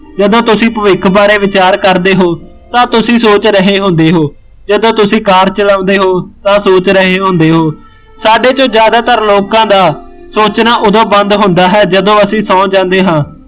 ਜਦੋਂ ਤੁਸੀਂ ਭਵਿੱਖ ਬਾਰੇ ਵਿਚਾਰ ਕਰਦੇ ਹੋ, ਤਾਂ ਤੁਸੀਂ ਸੋਚ ਰਹੇ ਹੁੰਦੇ ਹੋ, ਜਦੋਂ ਤੁਸੀਂ ਕਾਰ ਚਲਾਉਂਦੇ ਹੋ ਤਾਂ ਸੋਚ ਰਹੇ ਹੁੰਦੇ ਹੋ, ਸਾਡੇ ਛੋਂ ਜਿਆਦਾਤਰ ਲੋਕਾਂ ਦਾ, ਸੋਚਣਾ ਉਦੋਂ ਬੰਦ ਹੁੰਦਾ ਹੈ ਜਦੋਂ ਅਸੀਂ ਸੋਂ ਜਾਂਦੇ ਹਾਂ